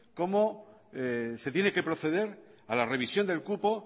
cómo se tiene que proceder a la revisión del cupo